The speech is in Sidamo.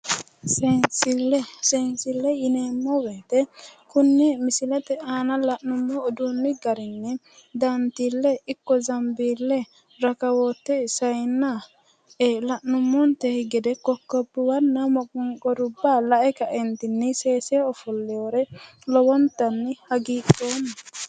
Seensille. Seensille yineemmo woyite konne misilete aana la'nummo uduunni garinni dantiille ikko zambiille rakowoote sayinna la'nummonte gede kokkobbuwanna moqonqorubba lae kaeentinni seese ofolliwore lowontanni hagidhoomma.